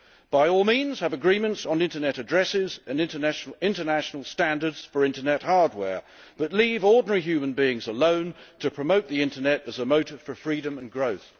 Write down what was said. By all means have agreements on internet addresses and international standards for internet hardware, but leave ordinary human beings alone to promote the internet as a motor for freedom and growth.